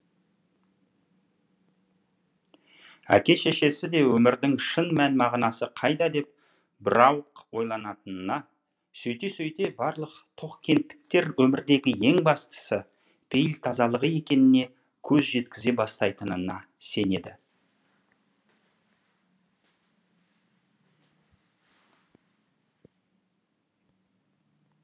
әке шешесі де өмірдің шын мән мағынасы қайда деп бірауық ойланатынына сөйте сөйте барлық тоқкенттіктер өмірдегі ең бастысы пейіл тазалығы екеніне көз жеткізе бастайтынына сенеді